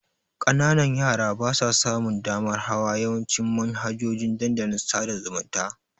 Ƙananan yara basa samun damar hawa yawancin manhajojin dandalin sada zumunta.